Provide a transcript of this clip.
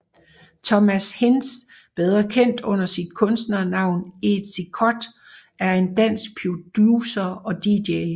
Thomas Hinz bedre kendt under sit kunstnernavn Ezi Cut er en dansk producer og Dj